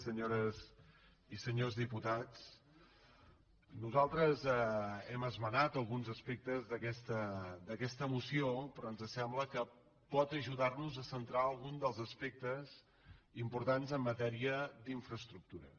senyores i senyors diputats nosaltres hem esmenat alguns aspectes d’aquesta moció però ens sembla que pot ajudar nos a centrar algun dels aspectes importants en matèria d’infraestructures